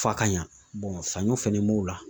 F'a ka ɲa saɲɔ fɛnɛ b'o la.